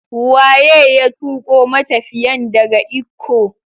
Waye ya tuko matafiyan daga Ikko?